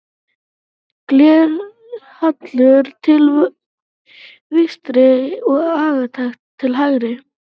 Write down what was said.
Glerhallur til vinstri og agat til hægri.